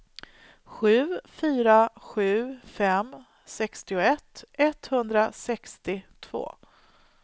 sju fyra sju fem sextioett etthundrasextiotvå